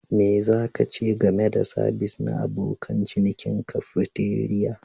Me za ka ce game da sabis na abokan cinikin cafeteria?